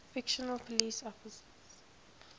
fictional police officers